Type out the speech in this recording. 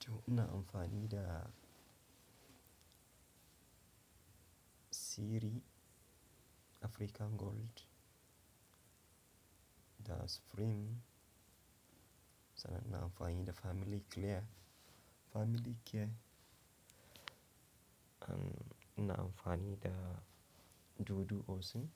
To ina amfani da Siri African Gold da Supreme, sannan ina amfani da Family Clear, Family Care. An ina amfani da Dudu Osin,